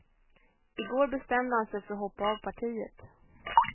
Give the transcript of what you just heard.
I går bestämde han sig för att hoppa av partiet.